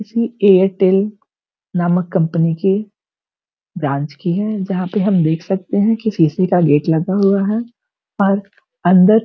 ये एयरटेल नामक कंपनी की ब्रांच की है जहाँ पे हम देख सकते हैं की शीशे का गेट लगा हुआ है और अन्दर --